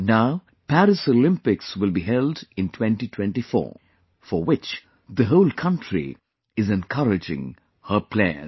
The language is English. Now Paris Olympics will be held in 2024, for which the whole country is encouraging her players